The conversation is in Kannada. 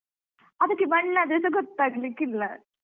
ಅದಕ್ಕೆ ಮಣ್ಣಾದ್ರೆಸ ಗೊತ್ತಾಗ್ಲಿಕ್ಕಿಲ್ಲ.